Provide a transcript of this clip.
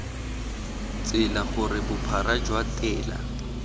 tsela gore bophara jwa tela